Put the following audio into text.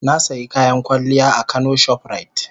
Na sayi kayan kwalliya a kano shoprite.